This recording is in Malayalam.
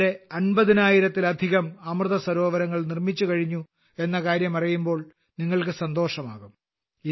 ഇതുവരെ 50000 ലധികം അമൃതസരോവരങ്ങൾ നിർമ്മിച്ചുകഴിഞ്ഞു എന്ന കാര്യം അറിയുമ്പോൾ നിങ്ങൾക്ക് സന്തോഷമാകും